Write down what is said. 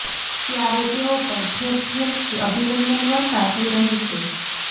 ત્યારે તેઓ પર ઠેર ઠેરથી અભિનંદન વર્ષા થઈ રહી છે